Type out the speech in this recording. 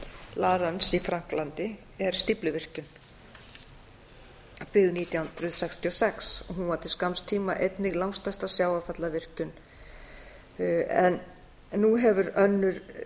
rance í frakklandi er stífluvirkjun byggð nítján hundruð sextíu og sex hún var til skamms tíma einnig langstærsta sjávarfallavirkjunin en nú hefur önnur